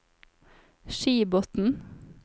Skibotn